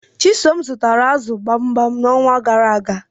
Chisom zutara m azu gbamgbam nxonwa garaaga